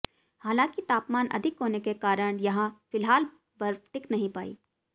हालांकि तापमान अधिक होने के कारण यहां फिलहाल बर्फ टिक नहीं पाई